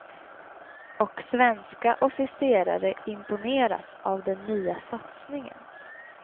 Och svenska officerare imponeras av den nya satsningen.